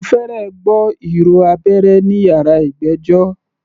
Mo fẹ́rẹ̀ gbọ́ ìró abẹ́rẹ́ ní yàrá ìgbẹ́jọ́.